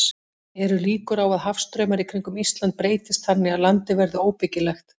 Eru líkur á að hafstraumar í kringum Ísland breytist þannig að landið verði óbyggilegt?